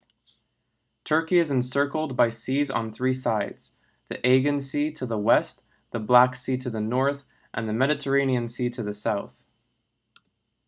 turkey is encircled by seas on three sides the aegean sea to the west the black sea to the north and the mediterranean sea to the south